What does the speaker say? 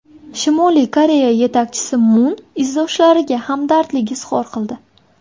Shimoliy Koreya yetakchisi Mun izdoshlariga hamdardlik izhor qildi.